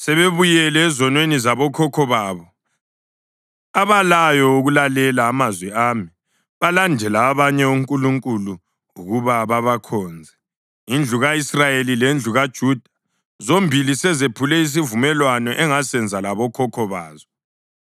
Sebebuyele ezonweni zabokhokho babo, abalayo ukulalela amazwi ami. Balandele abanye onkulunkulu ukuba babakhonze. Indlu ka-Israyeli lendlu kaJuda, zombili zisephule isivumelwano engasenza labokhokho bazo.